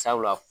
Sabula